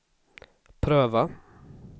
pröva